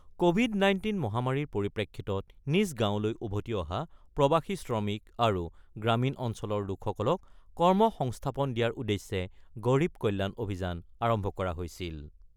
Covid- nineteen মহামাৰীৰ পৰিপ্ৰেক্ষিতত নিজ গাঁৱলৈ উভতি অহা প্ৰৱাসী শ্ৰমিক আৰু গ্ৰামীণ অঞ্চলৰ লোকসকলক কৰ্মসংস্থাপন দিয়াৰ উদ্দেশ্যে গৰীৱ কল্যাণ অভিযান আৰম্ভ কৰা হৈছিল।